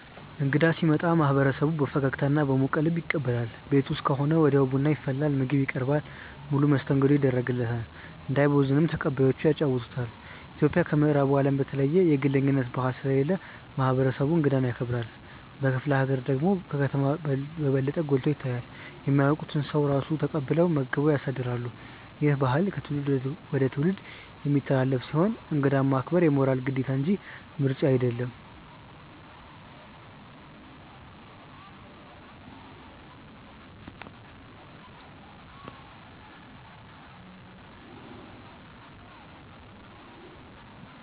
እንግዳ ሲመጣ ማህበረሰቡ በፈገግታና በሞቀ ልብ ይቀበላል። ቤት ውስጥ ከሆነ ወዲያው ቡና ይፈላል፣ ምግብ ይቀርባል፣ ሙሉ መስተንግዶ ይደረግለታል። እንዳይቦዝን ተቀባዮቹ ያጫውቱታል። ኢትዮጵያ ከምዕራቡ አለም በተለየ የግለኝነት ባህል ስለሌለ ማህበረሰቡ እንግዳን ያከብራል። በክፍለ ሀገር ደግሞ ከከተማ በበለጠ ጎልቶ ይታያል። የማያውቁትን ሰው ራሱ ተቀብለው መግበው ያሳድራሉ። ይህ ባህል ከትውልድ ወደ ትውልድ የሚተላለፍ ሲሆን እንግዳ ማክበር የሞራል ግዴታ እንጂ ምርጫ አይደለም።